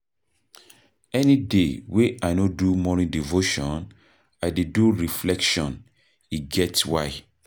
Any day wey I no do morning devotion, I dey do reflection, e get why.